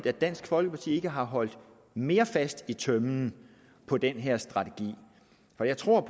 at dansk folkeparti ikke har holdt mere fast i tømmen på den her strategi for jeg tror